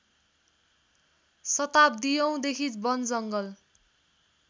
शताब्दीऔँ देखि वनजङ्गल